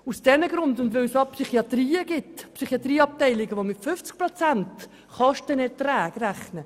Zudem gibt es Psychiatrieabteilungen, die mit Kostenerträgen von 50 Prozent rechnen.